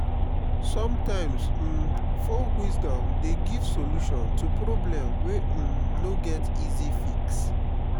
somtimes um folk wisdom dey give solution to problem wey um no get easy fix.